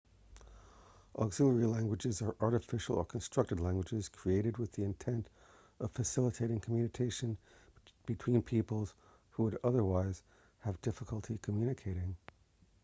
auxiliary languages are artificial or constructed languages created with the intent of facilitating communication between peoples who would otherwise have difficulty communicating